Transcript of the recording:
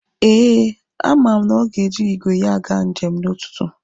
Eh, a ma m na ọ ga-eji igwe ya aga njem n'ụtụtụ.